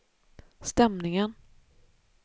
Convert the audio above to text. stämningen